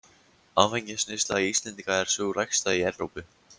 Áfengisneysla Íslendinga er sú lægsta í Evrópu.